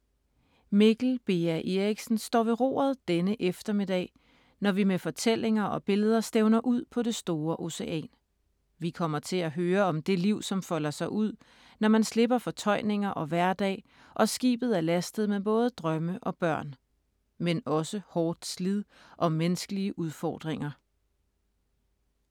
Mikkel Beha Erichsen står ved roret denne eftermiddag, når vi med fortællinger og billeder stævner ud på det store ocean. Vi kommer til at høre om det liv, som folder sig ud, når man slipper fortøjninger og hverdag og skibet er lastet med både drømme og børn. Men også hårdt slid og menneskelige udfordringer.